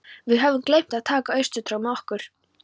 Við höfðum gleymt að taka austurtrog með okkur.